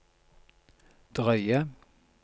drøye